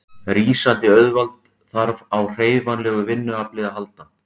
Rísandi auðvald þarf á hreyfanlegu vinnuafli að halda.